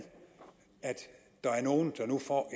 at der er nogle der nu får